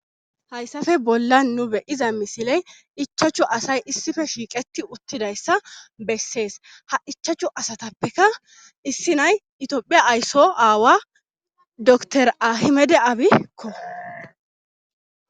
hayssafe bolla nu beyiza misiley ichachu asay issife shiiqeti uttidayssa bessees ha ichachchu asatappeka issi nay itiophiya aysso aawa dtor ahimede aabikko